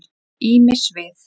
Ýmis svið.